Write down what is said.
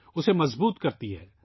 اس کو مضبوط کرتی ہے